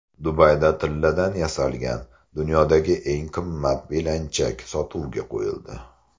Dubayda tilladan yasalgan, dunyodagi eng qimmat belanchak sotuvga qo‘yildi .